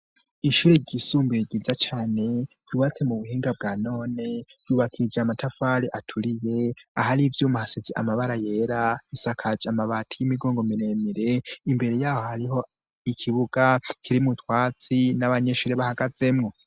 Ishuri ryisumbuye ryiza cane, ryubatse mu buhinga bwa none, ryubakishije amatafari aturiye, ahari ivyuma hasize amabara yera, isakaje amabati y'imigongo miremire, imbere yaho hariho ikibuga kirimwo utwatsi, n'abanyeshuri bahagazemwo.